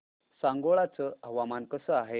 सांगोळा चं हवामान कसं आहे